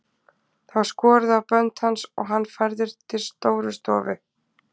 Það var skorið á bönd hans og hann færður til Stórustofu.